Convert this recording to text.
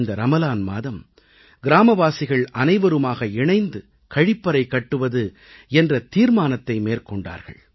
இந்த ரமலான் மாதம் கிராமவாசிகள் அனைவருமாக இணைந்து கழிப்பறை கட்டுவது என்ற தீர்மானத்தை மேற்கொண்டார்கள்